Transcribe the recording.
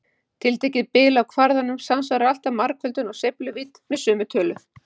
Tiltekið bil á kvarðanum samsvarar alltaf margföldun á sveifluvídd með sömu tölu.